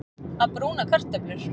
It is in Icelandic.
Að brúna kartöflur